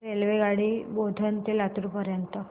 रेल्वेगाडी बोधन ते लातूर पर्यंत